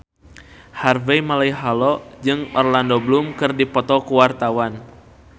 Harvey Malaiholo jeung Orlando Bloom keur dipoto ku wartawan